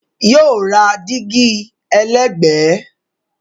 Yóò ra dígí ẹlẹ́gbẹ̀ẹ́